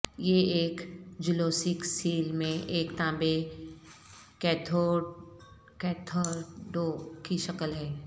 یہ ایک جلوسیک سیل میں ایک تانبے کیتھڈو کی شکل ہے